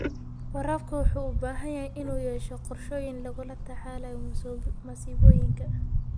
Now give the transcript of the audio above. Waraabka wuxuu u baahan yahay inuu yeesho qorshooyin lagula tacaalayo masiibooyinka.